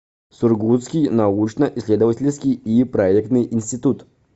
сургутский научно исследовательский и проектный институт